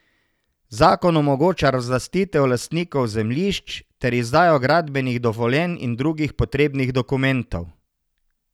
Zakon omogoča razlastitev lastnikov zemljišč ter izdajo gradbenih dovoljenj in drugih potrebnih dokumentov.